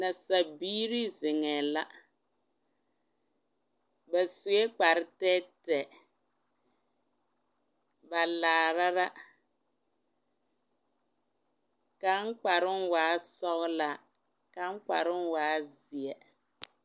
Nasabiiri zeŋɛɛ la ba sue kpare tɛɛtɛɛ ba laara la kaŋ kparoŋ waa sɔglaa kaŋ kparoŋ waa zeɛ.